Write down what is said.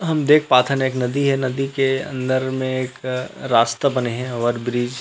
हम देख पाथन हे एक नदी हे नदी के अंदर में एक रास्ता बने हे ओवर ब्रिज --